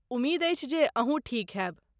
उमेद अछि जे अहूँ ठीक हेब !